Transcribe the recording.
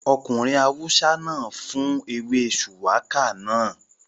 Ọkùnrin awúsá náà fún ewé shùwákà náà